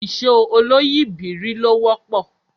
Ìṣó oloyìibírí ló wọ́pọ̀